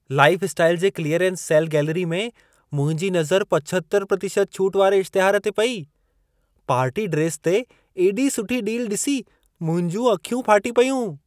Lifestyle जे clearance sale gallery में मुंहिंजी नज़र 75% छूटि वारे इश्तिहार ते पई। पार्टी ड्रेस ते एॾी सुठी डील ॾिसी मुंहिंजूं अखियूं फाटी पयूं।